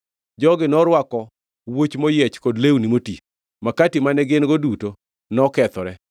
Jogi norwako wuoch moyiech kod lewni moti. Makati mane gin-go duto nokethore.